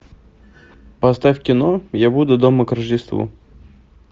поставь кино я буду дома к рождеству